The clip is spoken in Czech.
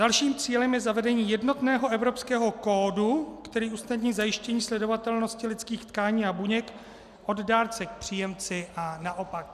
Dalším cílem je zavedení jednotného evropského kódu, který usnadní zajištění sledovatelnosti lidských tkání a buněk od dárce k příjemci a naopak.